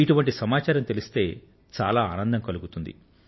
ఇటువంటి సమాచారం తెలిస్తే చాలా ఆనందం కలుగుతుంది